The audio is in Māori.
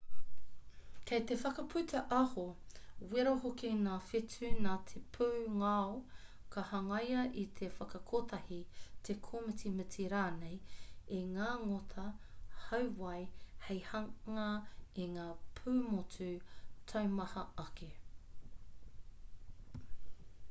kei te whakaputa aho wera hoki ngā whetū nā te pūngao ka hangaia i te whakakotahi te kōmitimiti rānei i ngā ngota hauwai hei hanga i ngā pūmotu taumaha ake